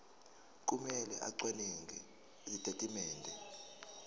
kumele acwaninge izitatimende